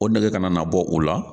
O nɛgɛ ka na bɔ u la.